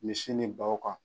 Misi ni baw kan.